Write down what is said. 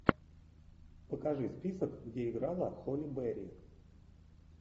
покажи список где играла холли берри